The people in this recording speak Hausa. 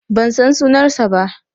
Ban san sunan ba.